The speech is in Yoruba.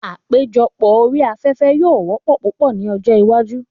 Àpéjọpọ̀ orí afẹ́fẹ́ yóò wọ́pọ̀ púpọ̀ ní ọjọ́ iwájú.